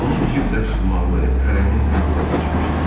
Onun cib dəsmalı əlinin qanına bulaşmışdı.